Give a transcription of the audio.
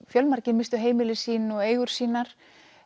fjölmargir misstu heimili sín og eigur sínar